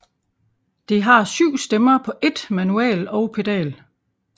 Det har syv stemmer på ét manual og pedal